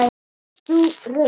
Varst þú reiður?